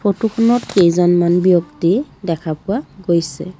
ফটোখনত কেইজনমান ব্যক্তি দেখা পোৱা গৈছে।